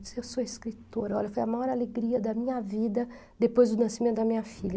Eu disse, eu sou escritora, olha, foi a maior alegria da minha vida depois do nascimento da minha filha.